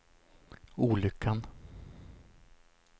olyckan